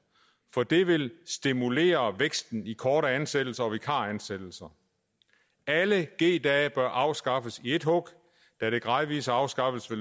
for det vil stimulere væksten i korte ansættelser og vikaransættelser alle g dage bør afskaffes i ét hug da gradvis afskaffelse